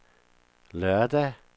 lørdag